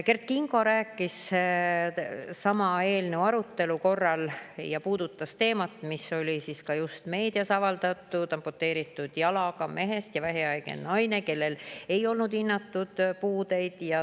Kert Kingo rääkis sama eelnõu arutelul, puudutades teemat, mis oli just meedias avaldatud, amputeeritud jalaga mehe ja vähihaige naise kohta, kellel ei olnud hinnangul puuet.